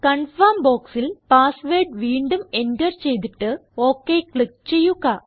confirm ബോക്സിൽ password വീണ്ടും enter ചെയ്തിട്ട് ഒക് ക്ലിക്ക് ചെയ്യുക